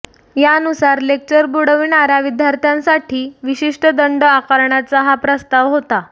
यानुसार लेक्चर बुडविणाऱ्या विद्यार्थ्यांसाठी विशिष्ट दंड आकारण्याचा हा प्रस्ताव होता